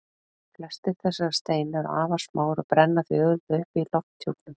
Flestir þessara steina eru afar smáir og brenna því auðveldlega upp í lofthjúpnum.